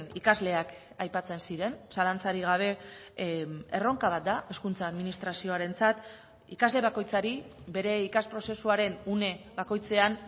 ikasleak aipatzen ziren zalantzarik gabe erronka bat da hezkuntza administrazioarentzat ikasle bakoitzari bere ikas prozesuaren une bakoitzean